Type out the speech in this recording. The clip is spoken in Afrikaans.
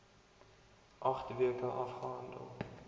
agt weke afgehandel